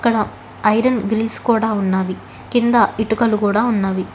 అక్కడ iron grills కూడా ఉన్నావి కింద ఇటుకలు కూడా ఉన్నవి.